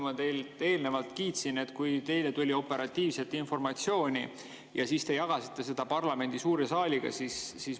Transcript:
Ma teid eelnevalt kiitsin, kui teile tuli operatiivselt informatsiooni ja siis te jagasite seda parlamendi suure saaliga.